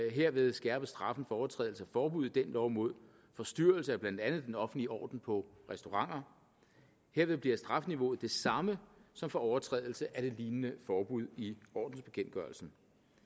herved skærpes straffen for overtrædelse af forbud i den lov mod forstyrrelse af blandt andet den offentlige orden på restauranter herved bliver strafniveauet det samme som for overtrædelse af et lignende forbud i ordensbekendtgørelsen